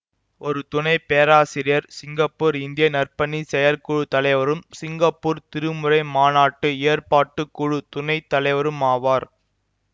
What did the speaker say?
ஒரு துணை பேராசிரியர் சிங்கப்பூர் இந்திய நற்பணிச் செயற்குழு தலைவரும் சிங்கப்பூர் திருமுறை மாநாட்டு ஏற்பாட்டுக்குழு துணை தலைவருமாவார்